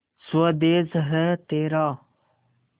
स्वदेस है तेरा